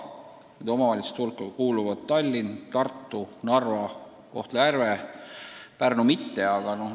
Nende omavalitsuste hulka kuuluvad Tallinn, Tartu, Narva ja Kohtla-Järve, Pärnu aga näiteks mitte.